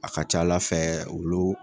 A ka ca ala fɛ olu